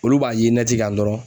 Olu b'a ye kan dɔrɔn.